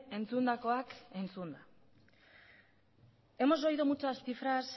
entzundakoak entzunda hemos oído muchas cifras